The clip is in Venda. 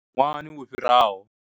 Ṅwahani wo fhiraho.